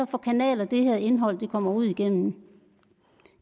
for kanaler det her indhold kommer ud igennem